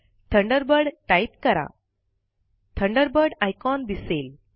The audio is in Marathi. थंडरबर्ड टाईप कराThunderbird आयकॉन दिसेल